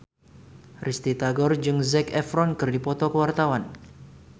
Risty Tagor jeung Zac Efron keur dipoto ku wartawan